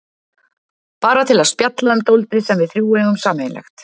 Bara til að spjalla um dálítið sem við þrjú eigum sameiginlegt.